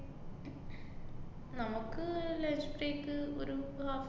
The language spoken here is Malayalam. നമുക്ക് lunch break ക്ക് ഒരു half